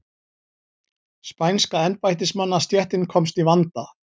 Spænska embættismannastéttin komst í vanda.